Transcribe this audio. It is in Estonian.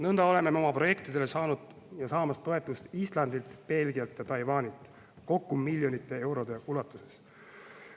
Nõnda oleme me oma projektidele saanud ja saamas toetust Islandilt, Belgialt ja Taiwanilt, kokku miljonite eurode ulatuses.